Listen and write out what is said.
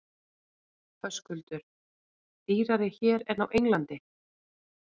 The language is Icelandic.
Höskuldur: Dýrari hér en á Englandi?